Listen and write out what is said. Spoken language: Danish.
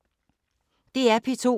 DR P2